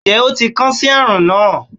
njẹ o ti kan si arun na